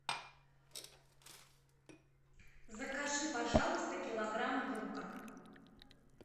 закажи пожалуйста килограмм лука